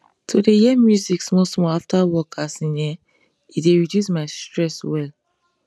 to dey hear music small small after work as in ehnn he dey reduce my stress well